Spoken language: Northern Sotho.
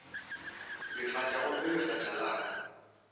lefatša gomme lefatša la ka